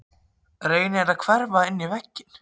Reynir að hverfa inn í vegginn.